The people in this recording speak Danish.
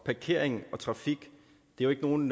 parkering og trafik er jo ikke nogen